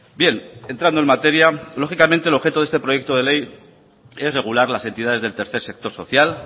bien entrando en materia lógicamente el objeto de este proyecto de ley es regular las entidades del tercer sector social